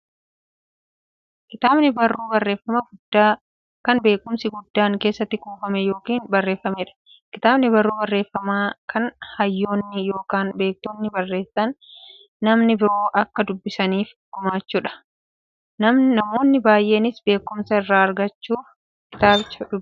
Kitaabni barruu barreeffamaa guddaa, kan beekumsi guddaan keessatti kuufame yookiin barreefameedha. Kitaabni barruu barreeffamaa, kan hayyoonni yookiin beektonni barreessanii, namni biroo akka dubbisaniif gumaachaniidha. Namoonni baay'eenis beekumsa irraa argachuuf kitaabicha nidubbisu.